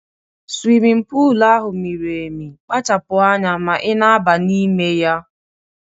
Swimin pul ahụ miri emi, kpachapu anya ma ị na-aba n'ime ya!